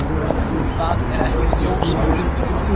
Það er ekkert ljós í gluggum.